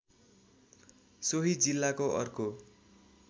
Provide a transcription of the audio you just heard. सोही जिल्लाको अर्को